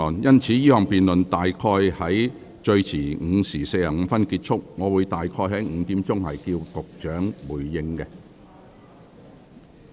因此，這項辯論最遲會於約下午5時45分結束，我會於5時左右請局長回應。